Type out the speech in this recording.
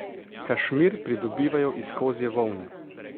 Kašmir pridobivajo iz kozje volne.